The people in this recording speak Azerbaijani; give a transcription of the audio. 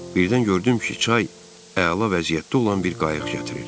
Birdən gördüm ki, çay əla vəziyyətdə olan bir qayıq gətirir.